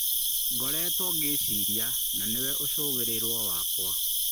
Ngoreto ngĩciria, na nĩwe ũcũgĩrĩrwo wakwa.